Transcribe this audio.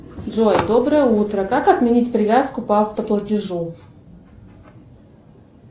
джой доброе утро как отменить привязку по авто платежу